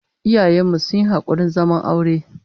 Iyayen mu sun yi hakurin zaman aure